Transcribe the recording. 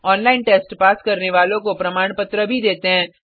online test pass करने वालों को प्रमाणपत्र भी देते हैं